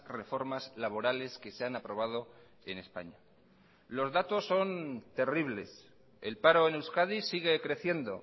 reformas laborales que se han aprobado en españa los datos son terribles el paro en euskadi sigue creciendo